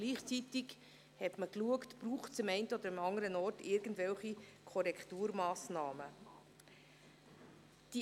Gleichzeitig hat man geschaut, ob es im einen oder anderen Bereich irgendwelche Korrekturmassnahmen braucht.